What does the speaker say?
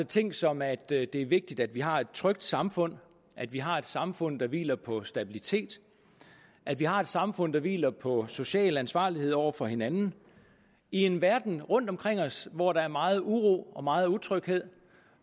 ting som at det er vigtigt at vi har et trygt samfund at vi har et samfund der hviler på stabilitet at vi har et samfund der hviler på social ansvarlighed over for hinanden i en verden rundt omkring os hvor der er meget uro og meget utryghed